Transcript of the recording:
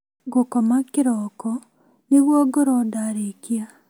Ngũkoma kĩroko nĩguo ngorwo ndarĩkia